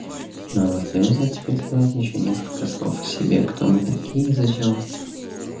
нам остаётся теперь сказать ещё несколько слов о себе кто мы такие и зачем